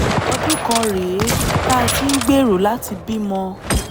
ọdún kan rèé tá a ti ń gbèrò láti bímọ